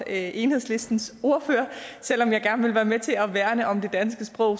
enhedslistens ordfører selv om jeg gerne vil være med til at værne om det danske sprog